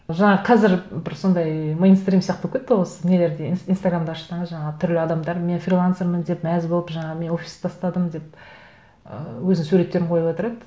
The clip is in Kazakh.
жаңағы қазір бір сондай мейнстрим сияқты болып кетті ғой осы нелерде инстаграмды ашсаңыз жаңа түрлі адамдар мен фрилансермін деп мәз болып жаңа мен офисты тастадым деп і өзінің суреттерін қойып отырады